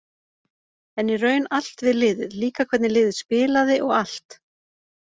En í raun allt við liðið, líka hvernig liðið spilaði og allt.